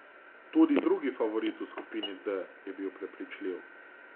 Tudi drugi favorit v skupini D je bil prepričljiv.